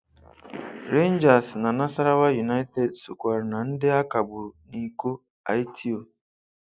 Rangers na Nassarawa United sokwara na ndị a kagburu n’iko Aiteo.